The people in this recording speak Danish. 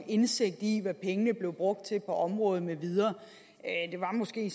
indsigt i hvad pengene bliver brugt til på området med videre det var måske